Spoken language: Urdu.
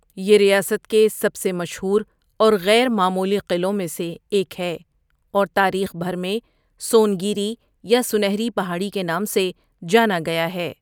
یہ ریاست کے سب سے مشہور اور غیر معمولی قلعوں میں سے ایک ہے اور تاریخ بھر میں سون گیری یا 'سنہری پہاڑی' کے نام سے جانا گیا ہے۔